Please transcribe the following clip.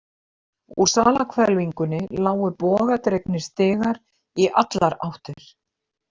Úr salarhvelfingunni lágu bogadregnir stigar í allar áttir.